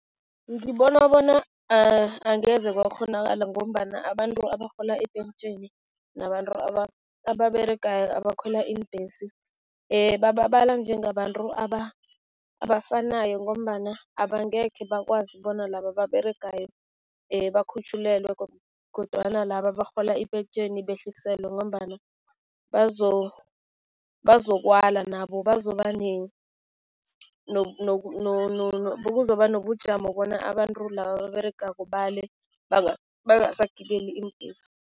Ngibona bona angeze kwakghonakala ngombana abantu abarhola ipentjheni nabantu ababeregayo, abakhwela iimbhesi bababala njengabantu abafanayo ngombana abangekhe bakwazi bona laba ababeregayo bakhutjhulelwe kodwana laba abarhola ipentjheni behliselwe ngombana bazokwala nabo bazoba kuzokuba nobujamo bona abantu laba ababeregako bale bangasagibeli iimbhesi.